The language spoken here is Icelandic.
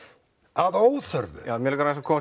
að óþörfu mig langar aðeins að koma